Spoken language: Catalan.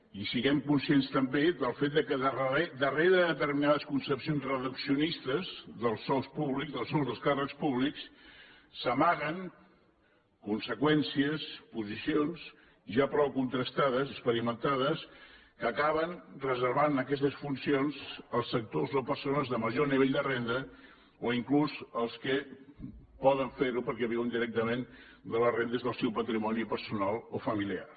i siguem conscients també del fet que darrere de determinades concepcions reduccionistes dels sous públics dels sous dels càrrecs públics s’amaguen conseqüències posicions ja prou contrastades experimentades que acaben reservant aquestes funcions als sectors o persones de major nivell de renda o inclús els que ho poden fer ho perquè viuen directament de les rendes del seu patrimoni personal o familiar